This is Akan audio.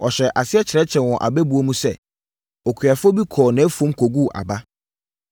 Ɔhyɛɛ aseɛ kyerɛkyerɛɛ wɔn abɛbuo mu sɛ, “Okuafoɔ bi kɔɔ nʼafuom kɔguu aba.